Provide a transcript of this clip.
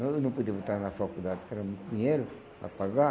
Nós não podíamos botar ela na faculdade, porque era muito dinheiro para pagar.